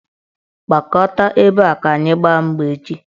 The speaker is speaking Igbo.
Gbakọta ebe a ka anyị gbaa mgba echi!